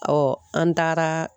an taara